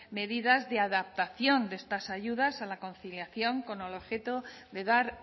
medidas de adaptación de estas ayudas a la conciliación con el objeto de dar